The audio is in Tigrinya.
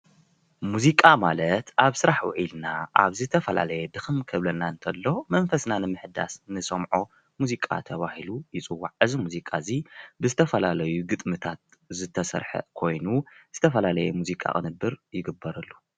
ሙዚቃ ማለት አብ ስራሕ ውዒልና አብ ዝተፈላለየ ድክም ክብለና እንተሎ መንፈስና ንምሕዳስ ንሰምዖ ሙዚቃ ተባሂሉ ይፅዋዕ፡፡ እዚ ሙዚቃ እዚ ብዝተፈላለዩ ግጥምታት ዝተስርሐ ኮይኑ ዝተፈላለየ ሙዚቃ ቅንብር ይግበረሉ፡፡